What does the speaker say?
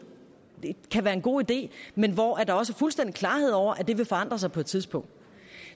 kan være en god idé men hvor der også er fuldstændig klarhed over at det vil forandre sig på et tidspunkt